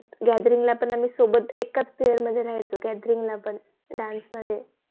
GATHERING ला पण सोबत एकाच PAIR मध्ये राहायचो GATHERING ला पण DANCE मध्ये